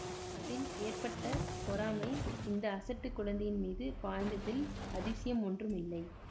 அதில் ஏற்பட்ட பொறாமை இந்த அசட்டுக் குழந்தையின் மீது பாய்ந்ததில் அதிசயம் ஒன்றும் இல்லை